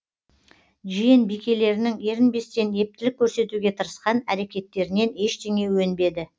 жиен бикелерінің ерінбестен ептілік көрсетуге тырысқан әрекеттерінен ештеңе өнбеді